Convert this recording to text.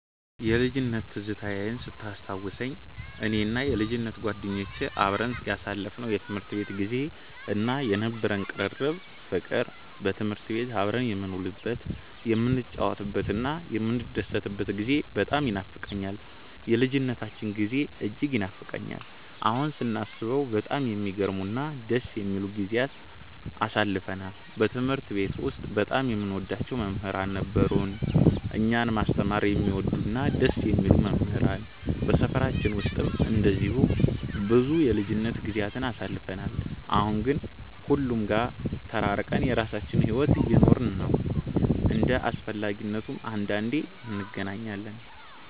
የልጅነት ትዝታዬን ስታስታውሰኝ፣ እኔና የልጅነት ጓደኞቼ አብረን ያሳለፍነው የትምህርት ቤት ጊዜ እና የነበረን ቅርርብ ፍቅር፣ በትምህርት ቤት አብረን የምንውልበት፣ የምንጫወትበትና የምንደሰትበት ጊዜ በጣም ይኖፋቀኛል። የልጅነታችን ጊዜ እጅግ ይናፍቀኛል። አሁን ስናስበው በጣም የሚገርሙ እና ደስ የሚሉ ጊዜያትን አሳልፈናል። በትምህርት ቤት ውስጥ በጣም የምንወዳቸው መምህራን ነበሩን፤ እኛን ማስተማር የሚወዱ እና ደስ የሚሉ መምህራን። በሰፈራችን ውስጥም እንደዚሁ ብዙ የልጅነት ጊዜያትን አሳልፈን፣ አሁን ግን ሁሉም ጋር ተራርቀን የራሳችንን ሕይወት እየኖርን ነው። እንደ አስፈላጊነቱም አንዳንዴ እንገናኛለን።